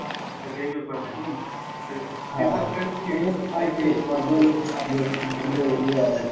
তালে এই ব্যাপার নাকি?